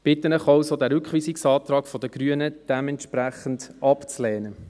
Ich bitte Sie also, den Rückweisungsantrag der Grünen dementsprechend abzulehnen.